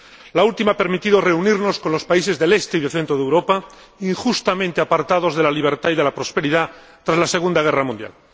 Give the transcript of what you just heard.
la última ha permitido reunirnos con los países del este y del centro de Europa, injustamente apartados de la libertad y de la prosperidad tras la Segunda Guerra Mundial.